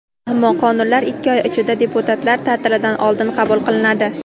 Ammo qonunlar ikki oy ichida – deputatlar ta’tilidan oldin qabul qilinadi.